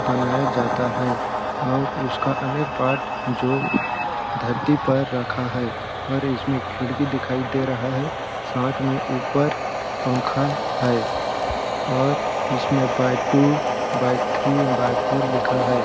बनाया जाता है और उसका अनेक पार्ट जो धरती पर रखा है और इसमें खिड़की दिखाई दे रहा है साथ में ऊपर पंखा है और इसमें by two by three by four लिखा है।